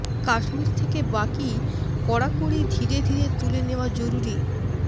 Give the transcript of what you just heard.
কাশ্মীর থেকে বাকি কড়াকড়ি ধীরে ধীরে তুলে নেওয়া জরুরি